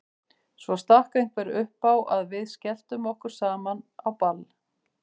Svo stakk einhver upp á að við skelltum okkur saman á ball.